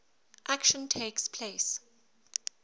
action takes place